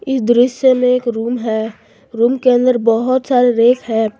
इस दृश्य में एक रूम है रूम के अंदर बहुत सारे रैक है।